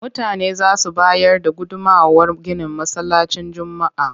Mutane za su bayar da gudummawar ginin Masallacin Juma'a.